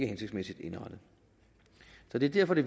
hensigtsmæssigt indrettet så det er derfor det